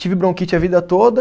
Tive bronquite a vida toda.